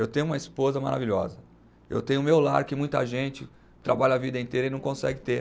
Eu tenho uma esposa maravilhosa, eu tenho o meu lar que muita gente trabalha a vida inteira e não consegue ter.